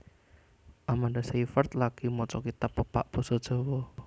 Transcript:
Amanda Seyfried lagi maca kitab pepak basa Jawa